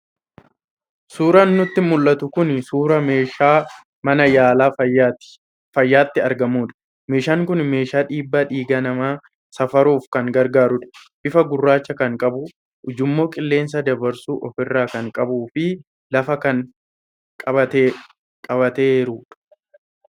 Suuraan nutti mul'atu kun suuraa meeshaa mana yaalaa fayyaatti argamudha. Meeshaan kun meeshaa dhiibbaa dhiigaa namaa safaruuf kan gargaarudha. Bifa gurraacha kan qabu, ujummoo qilleensa dabarsus ofirraa kan qabuu fi lafa kan qabateerudha.